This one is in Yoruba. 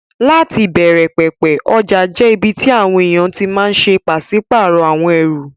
Láti ìbẹ̀rẹ̀ pẹ̀pẹ̀, ọjà jẹ́ ibi tí àwọn èèyàn ti máa n ṣe pàsípàrọ̀ àwọn ẹrù